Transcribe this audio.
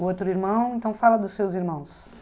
O outro irmão, então fala dos seus irmãos.